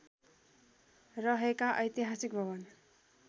रहेका ऐतिहासिक भवन